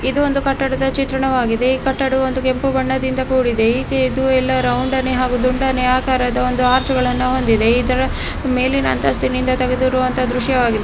ಇದು ಒಂದು ಕಟ್ಟಡದ ಚಿತ್ರಣವಾಗಿದೆ ಈ ಕಟ್ಟಡವು ಒಂದು ಕೆಂಪು ಬಣ್ಣದಿಂದ ಕೂಡಿದೆ ಇದು ಇದು ಎಲ್ಲ ರೌಂಡನೆ ಹಾಗು ದುಂಡನೆ ಆಕಾರದ ಆರ್ಚುಗಳನ್ನು ಹೊಂದಿದೆ ಇದರ ಮೇಲಿನ ಅಂತಸ್ತಿನ ತೆಗೆದಿರುವ ದೃಶ್ಯವಾಗಿದೆ.